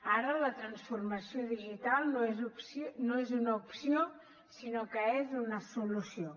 ara la transformació digital no és una opció sinó que és una solució